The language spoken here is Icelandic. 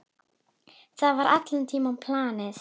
Það var allan tímann planið.